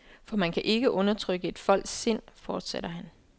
For man kan ikke undertrykke et folks sind, fortsætter han.